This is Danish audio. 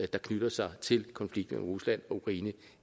der knytter sig til konflikten mellem rusland og ukraine